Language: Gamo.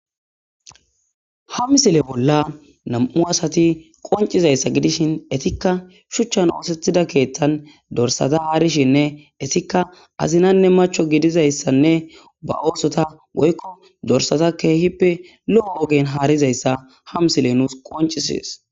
ha misile bolla nam7u asati qoncizayssa gidishin etikka shuchchan oosethida keeththan dorsata haarishinne esikka azinanne macho gidizayssanne ba oosota woykko dorsata keehippe lo7o wogen haarizayssa ha misile nuus qoncisies